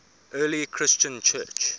early christian church